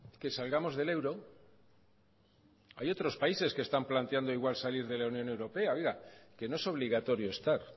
que salgamos del euro hay otros países que están planteando igual salir de la unión europea que no es obligatorio estar